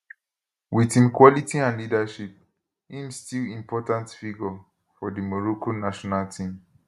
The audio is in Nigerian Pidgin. wit im quality and leadership im still important figure for di morocco national team